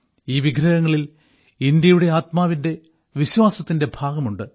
ഈ വിഗ്രഹങ്ങളിൽ ഇന്ത്യയുടെ ആത്മാവിന്റെ വിശ്വാസത്തിന്റെ ഭാഗമുണ്ട്